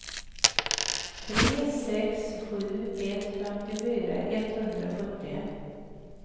tre sex sju ett femtiofyra etthundrasjuttio